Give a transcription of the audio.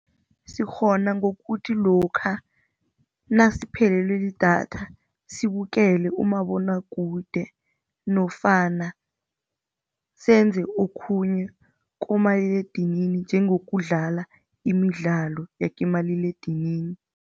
Sikghona ngokuthi lokha nasiphelelwe lidatha sibukele umabonwakude nofana senze okhunye kumaliledinini njengokudlala imidlalo yakimaliledinini.